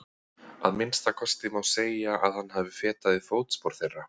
Að minnsta kosti má segja að hann hafi fetað í fótspor þeirra.